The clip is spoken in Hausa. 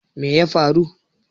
me ya faru